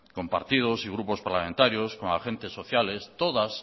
con partidos y grupos parlamentarios con agentes sociales todas